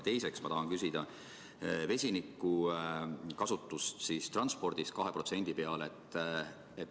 Ja teiseks ma tahan küsida vesinikukasutuse viimise kohta transpordis 2% peale.